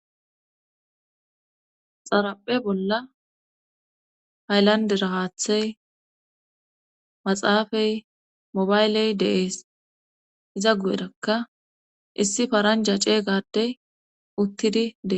Xaraphe bolla hayllandera haathey maxaafay mobayley dees iza gu7erakka issi paranja ceeygadey uttididee